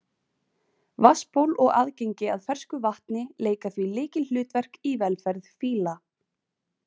Vatnsból og aðgengi að fersku vatni leika því lykilhlutverk í velferð fíla.